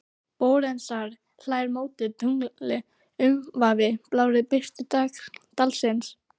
Barónessan hlær móti tungli umvafin blárri birtu dalsins.